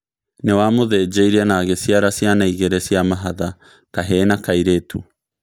Niwamũthinjiree na agĩciara ciana igĩrĩ cia mahatha, kahĩĩ na kairĩtu.